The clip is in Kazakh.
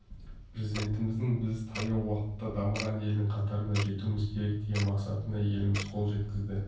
президентіміздің біз таяу уақытта дамыған елдің қатарына жетуіміз керек деген мақсатына еліміз қол жеткізді